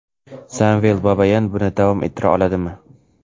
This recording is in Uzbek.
Samvel Babayan buni davom ettira oladimi?.